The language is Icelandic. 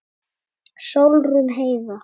Sólrún Heiða.